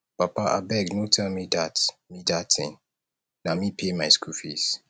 papa abeg no tell me dat me dat thing na me pay my school fees